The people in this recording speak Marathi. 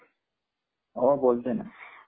हो बोलतोय न.